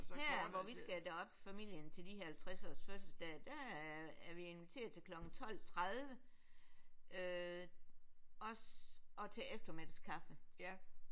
Her hvor vi skal derop familien til de halvtredsårs fødselsdage der er vi inviteret til klokken 12 30 øh og til eftermiddagskaffe